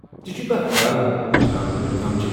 ژےٚ چھُے کانٛہہ خیال ہیچھناون وٲلۍ كم چھِ ؟